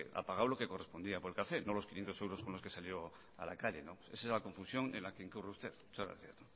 ha pagado lo que correspondía por el café no los quinientos euros con los que salió a la calle esa es la confusión en la que incurre usted muchas gracias